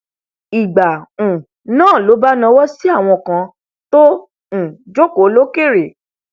ìgbà um náà ló bá nawọ sí àwọn kan tọn um jòkó lókèrè